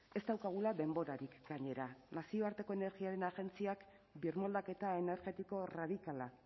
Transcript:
ez daukagula denborarik gainera nazioarteko energiaren agentziak birmoldaketa energetiko erradikala